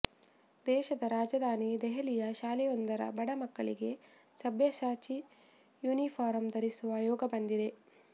ದೇಶದ ರಾಜಧಾನಿ ದೆಹಲಿಯ ಶಾಲೆಯೊಂದರ ಬಡ ಮಕ್ಕಳಿಗೆ ಸಭ್ಯಸಾಚಿ ಯೂನಿಫಾರಂ ಧರಿಸುವ ಯೋಗ ಬಂದಿದೆ